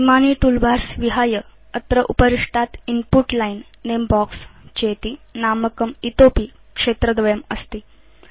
इमानि टूलबार्स विहाय अत्र उपरिष्टात् इन्पुट लाइन् नमे बॉक्स चेति नामकं इतोऽपि क्षेत्रद्वयम् अस्ति